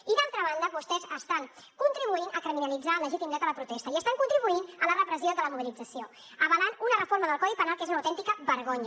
i d’altra banda vostès estan contribuint a criminalitzar el legítim dret a la protesta i estan contribuint a la repressió de la mobilització avalant una reforma del codi penal que és una autèntica vergonya